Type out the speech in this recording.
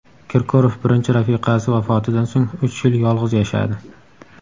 Kirkorov birinchi rafiqasi vafotidan so‘ng uch yil yolg‘iz yashadi.